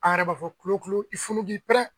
An yɛrɛ b'a fɔ kulo kulo i funu k'i pɛrɛn.